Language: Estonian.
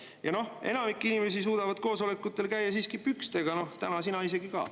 Ja enamik inimesi suudavad koosolekutel käia siiski pükstega, täna sina isegi ka.